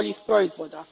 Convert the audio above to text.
boljih, proizvoda.